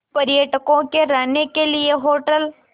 पर्यटकों के रहने के लिए होटल